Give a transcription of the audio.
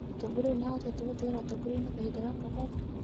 Mũtogoria ũyũ nĩahotete gũtigara ũtogoriainĩ kahinda gaka gothe?